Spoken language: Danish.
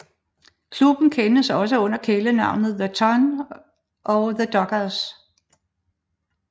Klubben kendes også under kælenavnene The Ton og The Dockers